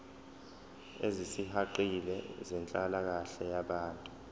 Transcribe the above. ezisihaqile zenhlalakahle yabantu